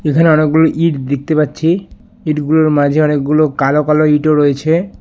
এখানে অনেকগুলো ইট দেখতে পাচ্ছি ইটগুলোর মাঝে অনেকগুলো কালো কালো ইটও রয়েছে।